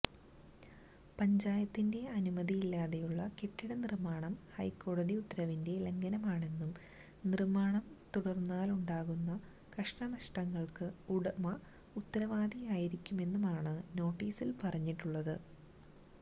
പഞ്ചായത്തിന്റെ അനുമതിയില്ലാതെയുളള കെട്ടിട നിർമ്മാണം ഹൈക്കോടതി ഉത്തരവിന്റെ ലംഘനമാണെന്നും നിര്മ്മാണം തുടർന്നാലുണ്ടാകുന്ന കഷ്ടനഷ്ടങ്ങൾക്ക് ഉടമ ഉത്തരവാദിയാരിക്കുമെന്നുമാണ് നോട്ടീസിൽ പറഞ്ഞിട്ടുളളത്